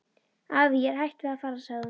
Afi, ég er hætt við að fara sagði hún.